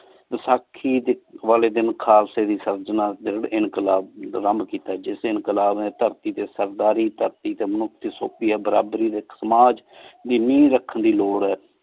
ਬੇਸਾਖੀ ਡੀ ਵਾਲੀ ਦਿਨ ਖਾਲਸਾ ਦੀ ਸਰ੍ਚਨਾ ਡੀ ਇਨਕ਼ਲਾਬ ਜਿਸ ਇਨਕ਼ਲਾਬ ਨੀ ਧਰਤੀ ਟੀ ਸਰਦਾਰੀ ਧਰਤੀ ਟੀ ਮਨੁਖ ਬਰਾਬਰੀ ਡੀ ਇਕ ਸਮਾਜ ਦੀ ਨੀਹ ਰਖਣ ਦੀ ਲੋੜਦ ਆਯ